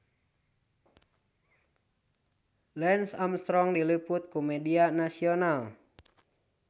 Lance Armstrong diliput ku media nasional